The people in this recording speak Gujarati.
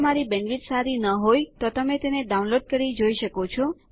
જો તમારી બેન્ડવિડ્થ સારી નહિં હોય તો તમે ડાઉનલોડ કરી તે જોઈ શકો છો